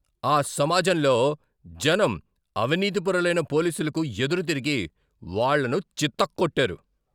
ఆ సమాజంలో జనం అవినీతిపరులైన పోలీసులకు ఎదురుతిరిగి వాళ్ళను చితక్కొట్టారు.